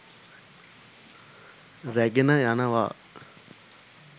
රැගෙන යනවා.